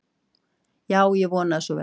Já, ég vona að svo verði.